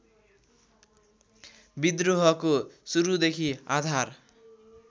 विद्रोहको सुरूदेखि आधार